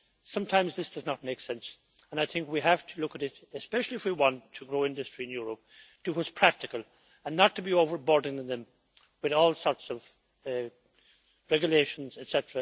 Sometimes this does not make sense, and I think we have to look at it, especially if we want to grow industry in Europe, to do what is practical, and not to be overburdening them with all sorts of regulations, etc.,